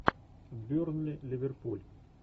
бернли ливерпуль